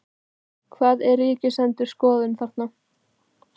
Hvað er Ríkisendurskoðun að segja þarna?